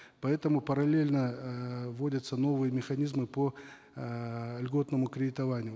поэтому параллельно эээ вводятся новые механизмы по эээ льготному кредитованию